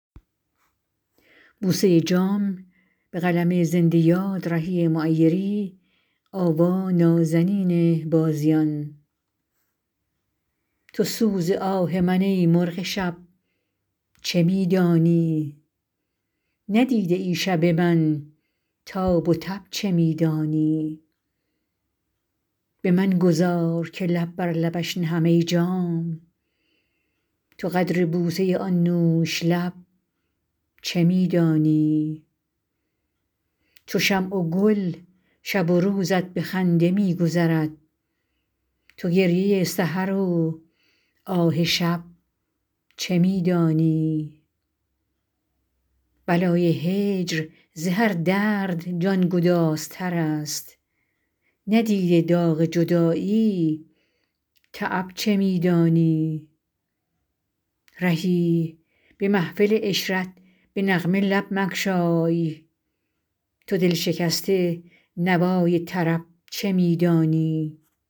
تو سوز آه من ای مرغ شب چه می دانی ندیده ای شب من تاب و تب چه می دانی به من گذار که لب بر لبش نهم ای جام تو قدر بوسه آن نوش لب چه می دانی چو شمع و گل شب و روزت به خنده می گذرد تو گریه سحر و آه شب چه می دانی بلای هجر ز هر درد جانگدازتر است ندیده داغ جدایی تعب چه می دانی رهی به محفل عشرت به نغمه لب مگشای تو دل شکسته نوای طرب چه می دانی